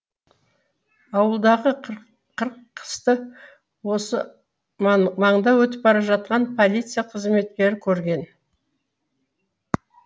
ауладағы қырқысты осы маңда өтіп бара жатқан полиция қызметкері көрген